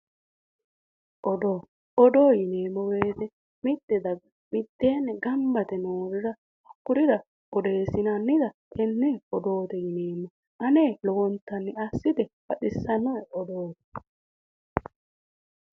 Odoo. Odoo yineemmo woyite mitte daga mitteenni gamba yite noorira kurira odeessinannita tenne odoote yineemmo. Ane lowontanni assite baxissannoe odooti.